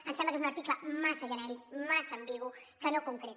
ens sembla que és un article massa genèric massa ambigu que no concreta